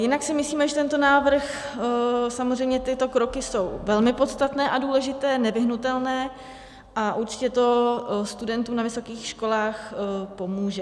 Jinak si myslíme, že tento návrh, samozřejmě tyto kroky jsou velmi podstatné a důležité, nevyhnutelné a určitě to studentům na vysokých školách pomůže.